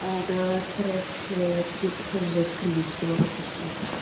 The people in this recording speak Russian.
а да короче ей пришлось взять кредит чтобы оплатить штраф